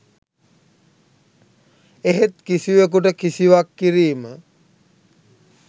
එහෙත් කිසිවකුට කිසිවක් කිරීම